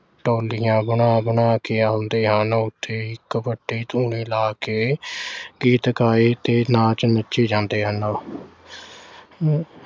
ਟੋਲੀਆਂ ਬਣਾ ਬਣਾ ਕੇ ਆਉਂਦੇ ਹਨ ਉਥੇ ਹੀ ਇੱਕ ਵੱਡੀ ਧੂਣੀ ਲਾ ਕੇ ਗੀਤਕਾਰੀ ਤੇ ਨਾਚ-ਨੱਚੇ ਜਾਂਦੇ ਹਨ। ਅਮ